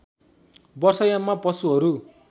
वर्षा याममा पशुहरू